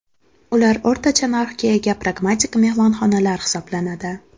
Ular o‘rtacha narxga ega pragmatik mehmonxonalar hisoblanadi.